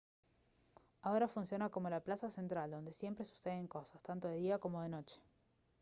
ahora funciona como la plaza central donde siempre suceden cosas tanto de día como de noche